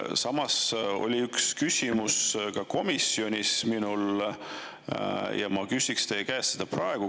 Samas mul oli üks küsimus komisjonis ja ma küsiks seda praegu teie käest.